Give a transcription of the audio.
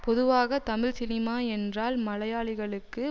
பொதுவாக தமிழ் சினிமா என்றால் மலையாளிகளுக்கு